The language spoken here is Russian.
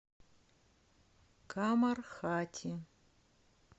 камархати